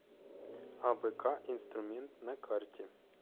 абк инструмент на карте